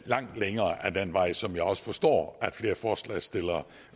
den vej som jeg også forstår at flere af forslagsstillerne